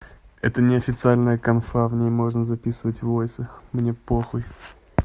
это неофициальная конфа в ней можно записывать в вайсак мне похуй